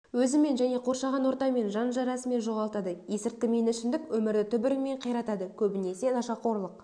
өзімен және қоршаған ортамен жан жарасымын жоғалтады есірткі мен ішімдік өмірді түбірімен қиратады көбінесе нашақорлық